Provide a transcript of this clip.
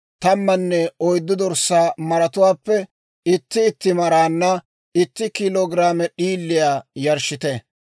tammanne oyddu dorssaa maratuwaappe itti itti maraanna itti kiilo giraame d'iiliyaa yarshshite.